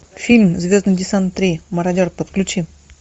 фильм звездный десант три мародер подключи